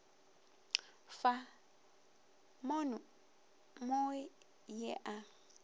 fa mono mo ye a